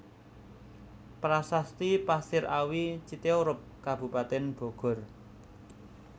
Prasasti Pasir Awi Citeureup Kabupaten Bogor